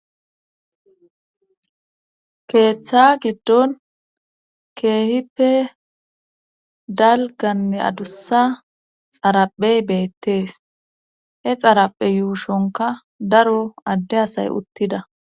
keeththa giddon keehippe dalganne adussa xaraphey beettees he xaraphe yuushonka daro adde asay uttida